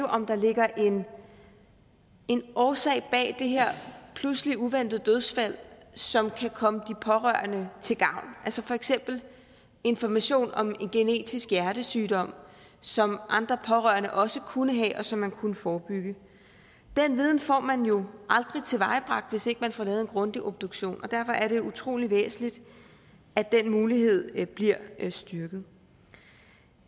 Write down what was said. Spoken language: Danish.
om der ligger en en årsag bag det her pludselige og uventede dødsfald en som kan komme de pårørende til gavn altså for eksempel information om en genetisk hjertesygdom som andre pårørende også kunne have og som man kunne forebygge den viden får man jo aldrig tilvejebragt hvis ikke man får lavet en grundig obduktion og derfor er det utrolig væsentligt at den mulighed bliver styrket